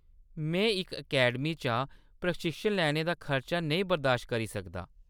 में इक अकैडमी चा प्रशिक्षण लैने दा खर्चा नेईं बरदाश्त करी सकदा।